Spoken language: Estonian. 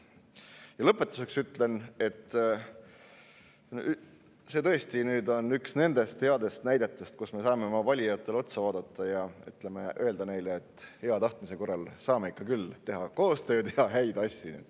Ja lõpetuseks ütlen, et see eelnõu on tõesti üks nendest headest näidetest, mille puhul me saame oma valijatele otsa vaadata ja öelda neile, et hea tahtmise korral saame ikka küll teha koostööd ja häid asju.